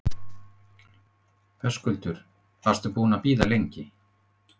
Höskuldur: Varstu búinn að bíða lengi?